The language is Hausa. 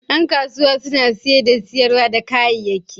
Yan kasuwa suna saye da sayar da kayayyaki.